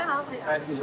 Hər kəsə halaldır.